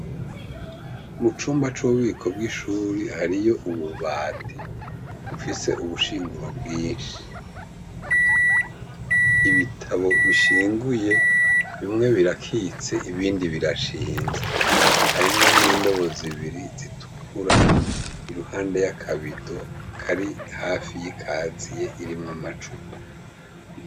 Mu cumba c'ububiko bw'ishuri hariyo ububati ufise ubushinguro bwinshi ibitabo bishinguye bimwe birakitse ibindi birashinze harimwo n'indobozibiri zitukura i ruhande ya kabido kari hafi y'ikaziye irimwe amacupa.